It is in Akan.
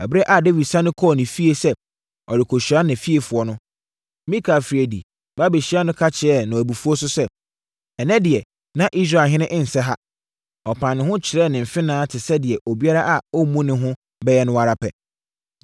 Ɛberɛ a Dawid sane kɔɔ ne fie sɛ ɔrekɔhyira ne fiefoɔ no, Mikal firii adi ba bɛhyiaa no ka kyerɛɛ no abufuo so sɛ, “Ɛnnɛ deɛ, na Israelhene nsɛ ha! Ɔpaa ne ho kyerɛɛ ne mfenaa te sɛ deɛ obiara a ɔmmu ne ho bɛyɛ no ara pɛ.”